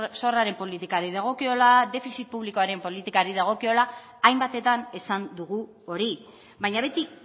zorraren politikari dagokiola defizit publikoaren politikari dagokiola hainbatetan esan dugu hori baina beti